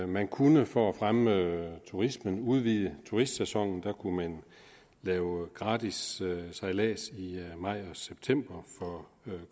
man kunne for at fremme turismen udvide turistsæsonen man kunne lave gratis sejlads i maj og september for